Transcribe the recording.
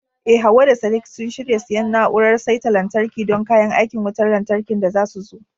Eh Hawwa da Sadiq sun shirya siyan na'urar saita lantarki don kayan aikin wutar lantarkin da zasu zo.